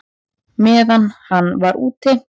Meðan hann var úti?